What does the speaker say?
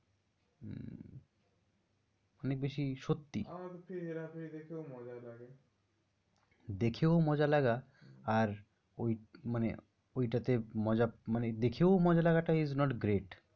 অনেক বেশি সত্যি। আমার কিন্তু হেরা ফেরি দেখেও মজা লাগে, দেখেও মজা লাগা আর ঐ মানে ঐ টাতে মজা মানে দেখেও মজা লাগাটা is not great